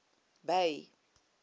bay